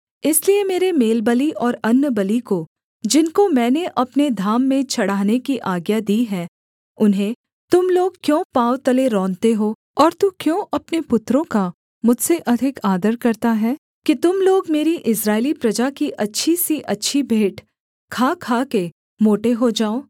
इसलिए मेरे मेलबलि और अन्नबलि को जिनको मैंने अपने धाम में चढ़ाने की आज्ञा दी है उन्हें तुम लोग क्यों पाँव तले रौंदते हो और तू क्यों अपने पुत्रों का मुझसे अधिक आदर करता है कि तुम लोग मेरी इस्राएली प्रजा की अच्छी से अच्छी भेंट खा खाके मोटे हो जाओ